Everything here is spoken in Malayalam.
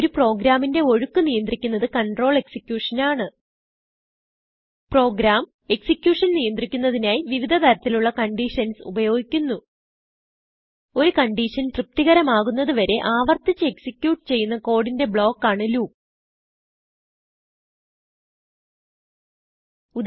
ഒരു പ്രോഗ്രാമിന്റെ ഒഴുക്ക് നിയന്ത്രിക്കുന്നത് കണ്ട്രോൾ എക്സിക്യൂഷൻ ആണ് പ്രോഗ്രാം executionനിയന്ത്രിക്കുന്നതിനായി വിവിധ തരത്തിലുള്ള കണ്ടീഷൻസ് ഉപയോഗിക്കുന്നു ഒരു conditionതൃപ്തികരം ആകുന്നത് വരെ ആവർത്തിച്ച് executeചെയ്യുന്ന കോഡിന്റെ ബ്ലോ ക്കാണ് ലൂപ്പ്